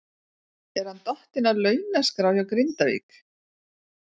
Er hann dottinn af launaskrá hjá Grindavík?